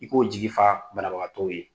I k'o jigi fa banabagatɔw ye